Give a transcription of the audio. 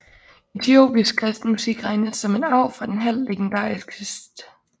Etiopisk kristen musik regnes som en arv fra den halvt legendariske St